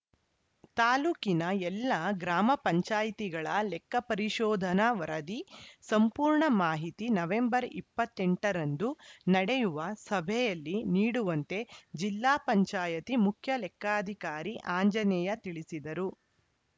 ತಾಲೂಕಿನ ಎಲ್ಲ ಗ್ರಾಮ ಪಂಚಾಯತ್ ಗಳ ಲೆಕ್ಕ ಪರಿಶೋಧನ ವರದಿ ಸಂಪೂರ್ಣ ಮಾಹಿತಿ ನವೆಂಬರ್ ಇಪ್ಪತ್ತ್ ಎಂಟ ರಂದು ನಡೆಯುವ ಸಭೆಯಲ್ಲಿ ನೀಡುವಂತೆ ಪಂಚಾಯತ್ ಮುಖ್ಯ ಲೆಕ್ಕಾಧಿಕಾರಿ ಆಂಜನೇಯ ತಿಳಿಸಿದರು